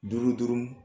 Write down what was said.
Duuru duuru